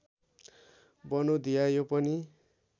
बनौधिया यो पनि